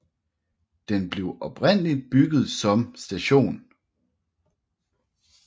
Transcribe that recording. Den blev oprindeligt bygget som St